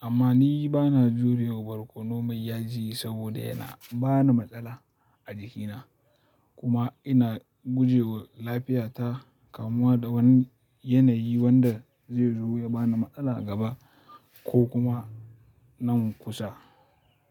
Amma ni bana jurewa barkono mai yaji saboda yana bani matsala a jikina. Kuma ina guje wa lafiya ta kamuwa da wani yanayi wanda zai zo ya bani matsala gaba ko kuma nan kusa.